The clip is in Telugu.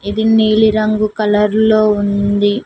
ఇది నీలి రంగు కలర్ లో ఉంది.